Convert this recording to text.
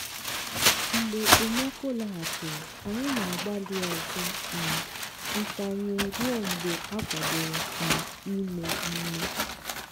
mgbe okpomọkụ laghachiri anyị na-agbalị ọzọ um ntanye ruo mgbe akwadoro um ime ime.